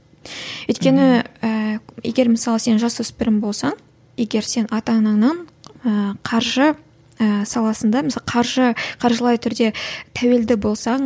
өйткені ііі егер мысалы сен жасөспірім болсаң егер сен ата анаңнан ыыы қаржы ыыы саласында мысалы қаржы қаржылай түрде тәуелді болсаң